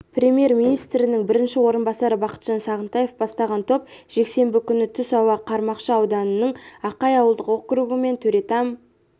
премьер-министрінің бірінші орынбасары бақытжан сағынтаев бастаған топ жексенбі күні түс ауа қармақшы ауданының ақай ауылдық округі мен төретам